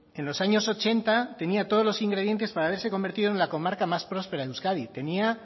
en los años ochenta tenía todos los ingredientes para haberse convertido en la comarca más próspera en euskadi tenía